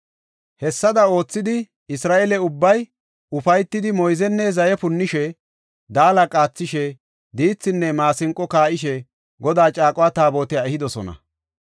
Hessada oothidi, Isra7eele ubbay ufaytidi moyzenne zaye punnishe, daala qaathishe, diithinne maasinqo kaa7ishe Godaa caaqo Taabotiya ehidosona.